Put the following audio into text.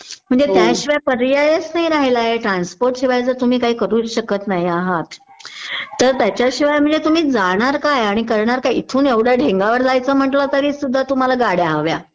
म्हणजे त्याशिवाय पर्यायच नाही राहिला आहे ट्रान्सपोर्टशिवाय जर तुम्ही काही करूच शकत नाही आहात तर त्याच्याशिवाय म्हणजे तुम्ही जाणार काय आणि करणार काय? इथून एवढ्या ढेंगावर जायचं म्हणलं तरी सुद्धा तुम्हाला गाड्या हव्या